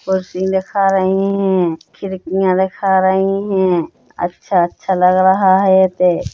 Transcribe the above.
परसी लिखा रहे है खिड़किया दिखा रहे है अच्छा-अच्छा लग रहा है ते--